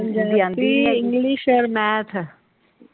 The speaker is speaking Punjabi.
Punjabi, English and math.